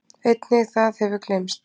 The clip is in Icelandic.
Einnig það hefur gleymst.